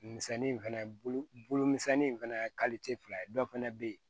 Misɛnni in fɛnɛ ye bolo misɛnnin in fɛnɛ ye fila ye dɔ fɛnɛ bɛ ye